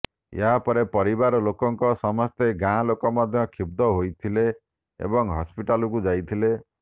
ଏହାପରେ ପରିବାର ଲୋକଙ୍କ ସମେତ ଗାଁଲୋକେ ମଧ୍ୟ କ୍ଷୁବ୍ଧ ହୋଇଥିଲେ ଏବଂ ହସ୍ପିଟାଲକୁ ଯାଇଥିଲେ